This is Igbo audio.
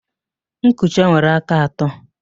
Nkucha nwere aka atọ